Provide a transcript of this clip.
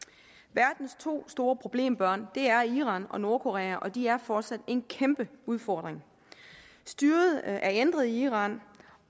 verdens to store problembørn er iran og nordkorea og de er fortsat en kæmpe udfordring styret er ændret i iran